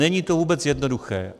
Není to vůbec jednoduché.